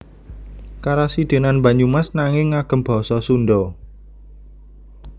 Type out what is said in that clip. Karasidenan Banyumas nanging ngagem basa Sundha